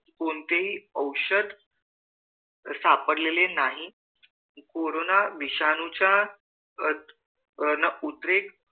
कोणतेही औषध सापडलेले नाही कोरोना विषाणू च्या अह उद्रेक